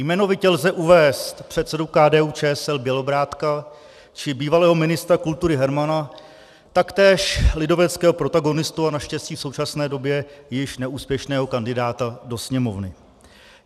Jmenovitě lze uvést předsedu KDU-ČSL Bělobrádka či bývalého ministra kultury Hermana, taktéž lidoveckého protagonistu a naštěstí v současné době již neúspěšného kandidáta do Sněmovny.